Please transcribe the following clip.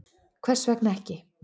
Hvers vegna ekki?